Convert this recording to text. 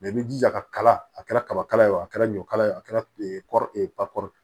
i b'i jija ka kala a kɛra kabakala ye o a kɛra ɲɔ kala ye a kɛra